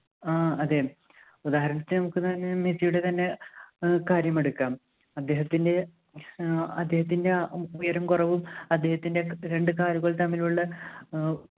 ആഹ് അതെ ഉദാഹരണത്തിന് ലയണൽ മെസ്സിയുടെ തന്നെ ഏർ കാര്യം എടുക്കാം അദ്ദേഹത്തിൻ്റെ ഏർ അദ്ദേഹത്തിൻ്റെ ആ ഉയരം കുറവും അദ്ദേഹത്തിൻ്റെ രണ്ട് കാലുകൾ തമ്മിലുള്ള ഏർ